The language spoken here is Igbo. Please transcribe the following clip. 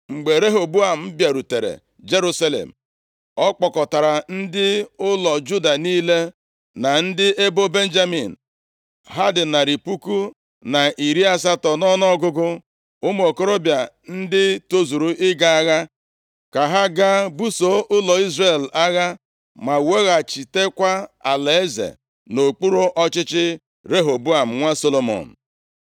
Mgbe Rehoboam bịarutere Jerusalem, ọ kpọkọtara ndị ụlọ Juda niile na ndị ebo Benjamin, ha dị narị puku na iri asatọ nʼọnụọgụgụ, ụmụ okorobịa ndị tozuru ịga agha, ka ha gaa buso ụlọ Izrel agha ma weghachitekwa alaeze nʼokpuru ọchịchị Rehoboam, nwa Solomọn.